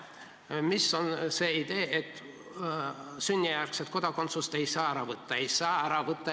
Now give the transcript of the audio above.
Mis on see idee, et sünnijärgset kodakondsust ei saa ära võtta?